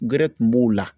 Gɛrɛ kun b'o la